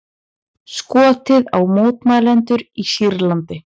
Skotið á mótmælendur í Sýrlandi